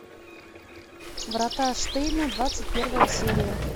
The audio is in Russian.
врата штейна двадцать первая серия